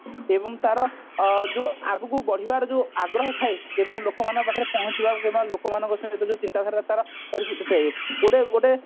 ଏବଂ ତାର ଯୋଉ ଆଗକୁ ବଢିବାର ଯୋଉ ଆଗ୍ରହ ଥାଏ ଏବଂ ଲୋକମାନଙ୍କ ପାଖରେ ପହଞ୍ଚିବା କିମ୍ବା ଲୋକମାନଙ୍କ ସହିତ ଯୋଉ ଚିନ୍ତାଧାରା ତାର ଥାଏ ଗୋଟେ ଗୋଟେ